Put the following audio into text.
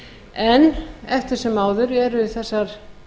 en eftir sem áður eru þessar